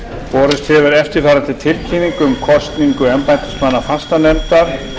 borist hefur eftirfarandi tilkynning um kosningu embættismanna fastanefndar